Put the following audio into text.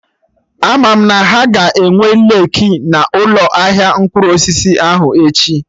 Ama m na ha ga-enwe leeki na ụlọ ahịa mkpụrụ osisi ahụ echi